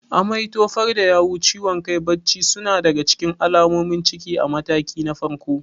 Amai, tofar da yawu, ciwon kai, bacci suna daga cikin alamomin ciki a mataki na farko.